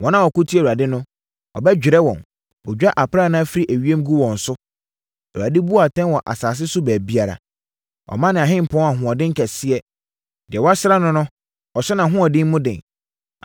Wɔn a wɔko tia Awurade no, ɔbɛdwerɛ wɔn. Ɔdwa aprannaa firi ewiem gu wɔn so; Awurade bu atɛn wɔ asase so baabiara. “Ɔma ne ɔhempɔn ahoɔden kɛseɛ; deɛ wasra no no, ɔhyɛ nʼahoɔden mu den.”